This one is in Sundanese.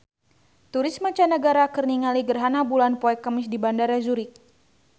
Turis mancanagara keur ningali gerhana bulan poe Kemis di Bandara Zurich